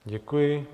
Děkuji.